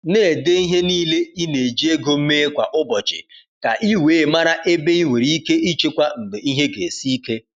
Na-ede ihe niile i na-eji ego mee kwa ụbọchị, ka i wee mara ebe i nwere ike ichekwa mgbe ihe ga esi ike.